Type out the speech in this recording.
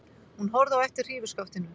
Hún horfði á eftir hrífuskaftinu.